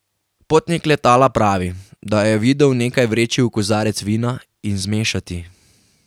Potnik letala pravi, da jo je videl nekaj vreči v kozarec vina in zmešati.